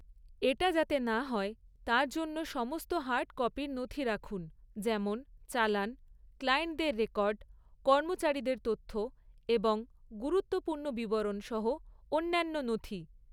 এটা যাতে না হয় তার জন্য সমস্ত হার্ড কপির নথি রাখুন, যেমন চালান, ক্লায়েন্টদের রেকর্ড, কর্মচারীদের তথ্য এবং গুরুত্বপূর্ণ বিবরণ সহ অন্যান্য নথি।